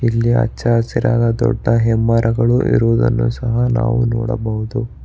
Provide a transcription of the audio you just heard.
ಇಲ್ಲಿ ಹಚ್ಚ ಹಸಿರಾದ ದೊಡ್ಡ ಮರಗಳು ಇರುವುದನ್ನು ಸಹ ನಾವು ನೋಡಬಹುದು.